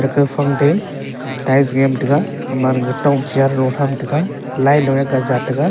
kaphang dai tiles yam taga ema gatok chair lung chamtaga lai lung kat jah taga.